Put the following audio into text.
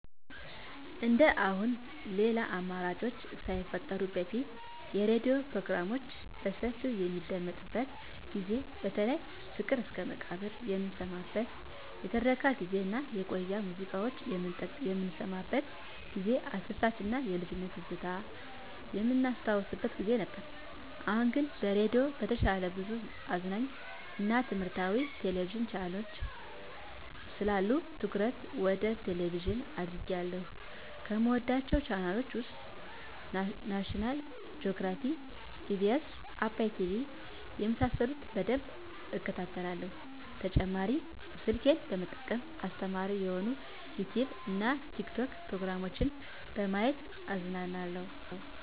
እንደአሁኑ ሌላ አማራጮች ሳይፈጠሩ በፊት የሬዲዮ ፕሮግራሞች በሰፊው በሚደመጥበት ጊዜ በተለይ ፍቅር እስከመቃብር የምንሰማበት የትረካ ጊዜ እና የቆዩ ሙዚቃዎች የምንሰማበት ጊዜ አስደሳች እና የልጅነት ትዝታ የምናስታውስበት ጊዜ ነበር። አሁን ግን ከሬዲዮ በተሻለ ብዙ አዝናኝ እና ትምህረታዊ የቴሌቪዥን ቻናሎች ስላሉ ትኩረቴ ወደ ቴሌቭዥን አድርጌአለሁ። ከምወዳቸው ቻናሎች ውስጥ ናሽናል ጆግራፊ, ኢቢኤስ, አባይ ቲቪ የመሳሰሉት በደንብ እከታተላለሁ። በተጨማሪ ስልኬን በመጠቀም አስተማሪ የሆኑ የዩቲዉብ እና የቲክቶክ ፕሮግራሞችን በማየት እዝናናለሁ።